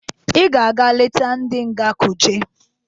I ga-eje leta ndị nga Kuje!